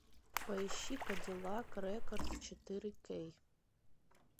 поищи кадиллак рекордс четыре кей